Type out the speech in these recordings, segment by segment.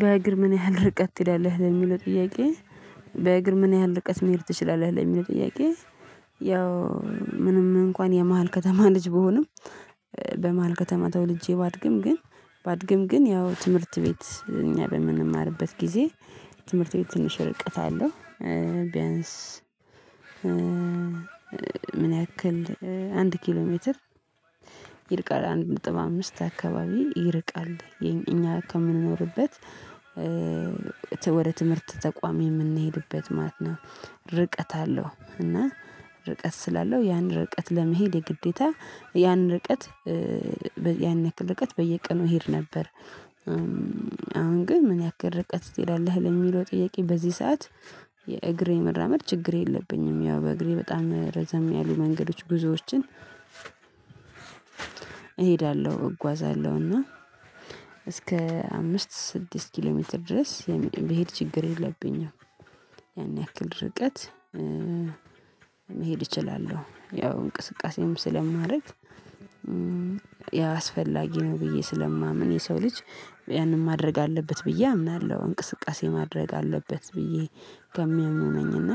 በእግር ምን ያህል ርቀት ትሄዳለህ ለሚለው ጥያቄ በእግር ምን ያህል ርቀት መሄድ ትችላለህ ለሚለው ጥያቄ? ያው ምንም እንኳን የመሃል ከተማ ልጅ ብሆንም በመሃል ከተማ ተወልጄ ባድግም ግን ባድግም ግን ያው ትምህርት ቤት እኛ በምንማርበት ጊዜ ትምህርት ቤት ትንሽ ርቀት አለው። ቢያንስ ምን ያክል አንድ ኪሎ ሜትር ይርቃል አንድ ጥበብ አምስት አካባቢ ይርቃል እኛ ከምንኖርበት ወደ ትምህርት ተቋም የምንሄድበት ማለት ነው። ርቀት አለው እና ርቀት ስላለው ያን ርቀት ለመሄድ የግዴታ ያን ርቀት ያን ያክል ርቀት በየቀኑ እሄድ ነበር። አሁን ግን ምን ያክል ርቀት ትሄዳለህ ለሚለው ጥያቄ? በዚህ ሰዓት የእግሬ መራመድ ችግር የለብኝም። ያው በእግሬ በጣም ረዘም ያሉ መንገዶች ብዙዎችን እሄዳለሁ እጓዛለሁ እና እስከ አምስት ስድስት ኪሎ ሜትር ድረስ የሚሄድ ችግር የለብኝም። ያን ያክል ርቀት መሄድ እችላለሁ ያው እንቅስቃሴም ስለማረግ ያ አስፈላጊ ነው ብዬ ስለማምን የሰው ልጅ ያንን ማድረግ አለበት ብዬ አምናለሁ። እንቅስቃሴ ማድረግ አለበት ብዬ ከሚያምኑ ነኝና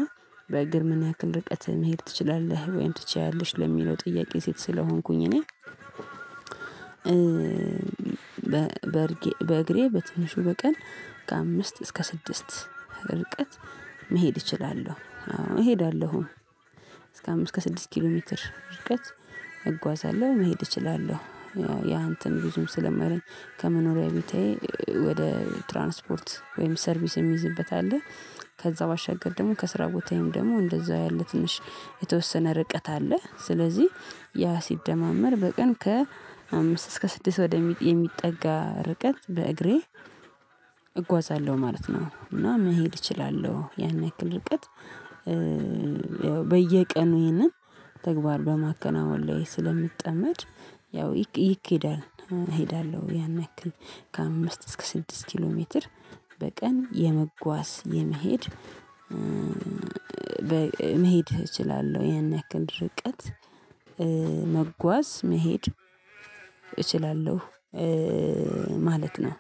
በግር ምንያክልና ርቀት መሄድ ትችላለህ ወይም ትችያለሽ ለሚለው ጥያቄ? ሴት ስለሆንኩኝ እኔ በእግሬ በትንሹ በቀን ከአምስት እስከ ስድስት ርቀት መሄድ እችላለሁ እሄዳለሁ እስከ አምስት እስከ ስድስት ኪሎ ሜትር ድርጅት እጓዛለሁ መሄድ እችላለሁ። ያ እንትን ብዙም ስለማይለኝ ከመኖሪያዬ ቤቴ ወደ ትራንስፖርት ወይም ሰርቪስ የሚይዝበት አለ ከዛ ባሻገር ደግሞ ከስራ ቦታዬም ደግሞ እንደዛው ያለ ትንሽ የተወሰነ ርቀት አለ። ስለዚህ ያ ሲደማመር በቀን ከአምስት እስከ ስድስት ወደ ሚጥ የሚጠጋ ርቀት በእግሬ እጓዛለሁ ማለት ነው። እና መሄድ እችላለሁ። ያን ያክል ርቀት በየቀኑ ይሄንን ተግባር በማከናወን ላይ ስለምትጠመድ ያው ይኬዳል እሄዳለሁ ያን ያክል ከአምስት እስከ ስድስት ኪሎ ሜትር በቀን የመጓዝ የመሄድ መሄድ እችላለሁ ያንን ያክል ርቀት መጓዝ መሄድ እችላለሁ። ማለት ነው